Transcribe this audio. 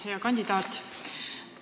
Hea kandidaat!